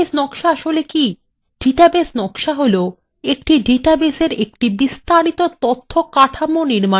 database নকশা হলো একটি ডাটাবেসএর একটি বিস্তারিত তথ্য কাঠামো নির্মান করার প্রক্রিয়া